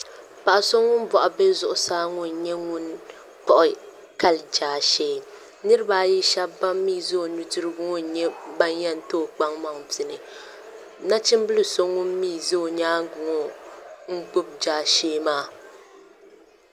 Paɣa so ŋun boɣu bɛ zuɣusaa ŋo n nyɛ ŋun kpuɣi kali jaashee niraba ayi shab ban mii ʒɛ o nudirigu ŋo n nyɛ ban yɛn too kpaŋmaŋ pini nachimbili so ŋun mii ʒɛ o nyaangi ŋo n nyɛ ŋun gbubi jaashee maa